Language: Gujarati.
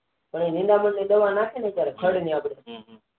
પણ નીદામ ની દવા નાખીએ એટલે ફળ નહી આપડે